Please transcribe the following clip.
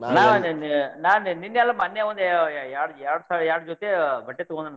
ನಾ ಅಲ್ಲೇ ನಿನ್ನೆ ಆಲ್ ಮನ್ನೆಒಂದ್ ಎರ್ಡ್ ಎರ್ಡ್ ಸಲ ಎರ್ಡ್ ಜೊತೆ ಬಟ್ಟೆ ತಗೊಂಡೆನ್.